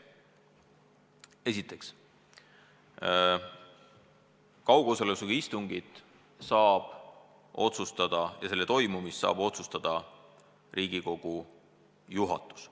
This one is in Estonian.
Esiteks, kaugosalusega istungi toimumise saab otsustada Riigikogu juhatus.